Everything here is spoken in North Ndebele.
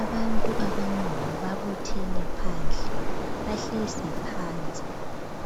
Abantu abanengi babuthene phandle. Bahlezi phansi,